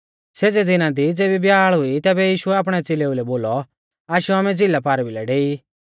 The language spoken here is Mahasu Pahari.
सेज़ै दिना दी ज़ेबी ब्याल़ हुई तैबै यीशुऐ आपणै च़ेलेऊ लै बोलौ आशौ आमै झ़िला पारभिलै डेई